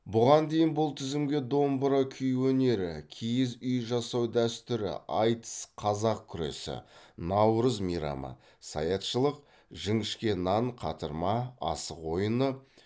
бұған дейін бұл тізімге домбыра күй өнері киіз үй жасау дәстүрі айтыс қазақ күресі наурыз мейрамы саятшылық жіңішке нан қатырма асық ойыны